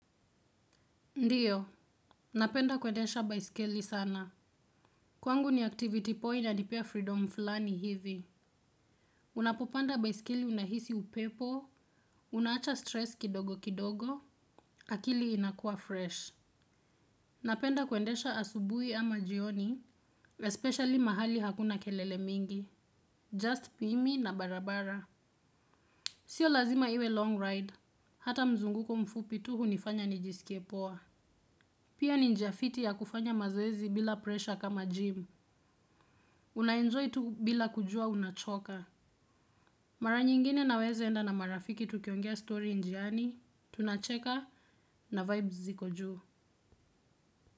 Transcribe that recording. Ndiyo, napenda kwendesha baiskeli sana. Kwangu ni activity poa inanipea freedom fulani hivi. Unapopanda baiskeli unahisi upepo, unaacha stress kidogo kidogo, akili inakua fresh. Napenda kwendesha asubui ama jioni, especially mahali hakuna kelele mingi. Just pimi na barabara. Sio lazima iwe long ride. Hata mzunguko mfupi tu hunifanya nijisikie poa. Pia ni njia fiti ya kufanya mazoezi bila presha kama gym. Unaenjoy tu bila kujua unachoka. Mara nyingine naweza enda na marafiki tukiongea story njiani, tunacheka na vibes ziko juu.